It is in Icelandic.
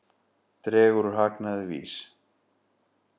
Dregur úr hagnaði VÍS